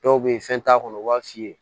Dɔw bɛ yen fɛn t'a kɔnɔ u b'a f'i ye